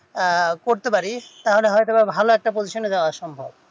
আহ এটা করতে পারি তাহলে একটা ভালো position এ যাওয়া সম্ভব